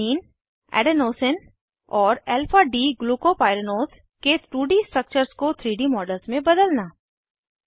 alanine adenosine और alpha d glucopyranose के 2डी स्ट्रक्चर्स को 3डी मॉडल्स में बदलना